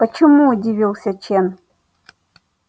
почему удивился чен